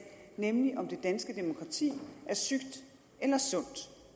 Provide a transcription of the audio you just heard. nemlig om det danske demokrati er sygt eller sundt